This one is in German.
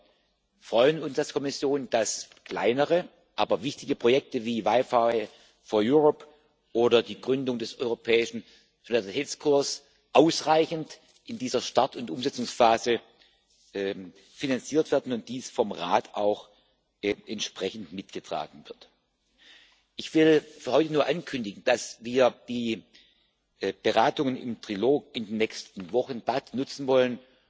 Wir freuen uns als Kommission, dass kleinere, aber wichtige Projekte wie WiFi4EU oder die Gründung des Europäischen Solidaritätskorps in dieser Start und Umsetzungsphase ausreichend finanziert werden und dies vom Rat auch entsprechend mitgetragen wird. Ich will für heute nur ankündigen, dass wir die Beratungen im Trilog in den nächsten Wochen dazu nutzen wollen,